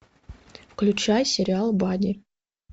включай сериал бадди